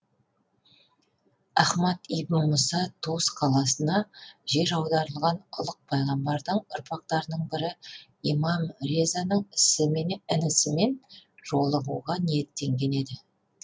ахмад ибн мұса тус қаласына жер аударылған ұлық пайғамбардың ұрпақтарының бірі имам резаның інісімен жолығуға ниеттенген еді